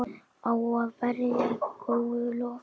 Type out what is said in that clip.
Á að bera í góulok.